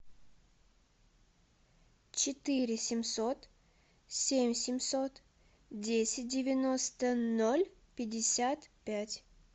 четыре семьсот семь семьсот десять девяносто ноль пятьдесят пять